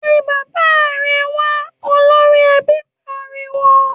‘Pe bàbá re̩ wa!’, olórí e̩bí pariwo